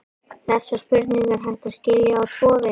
Þessa spurningu er hægt að skilja á tvo vegu.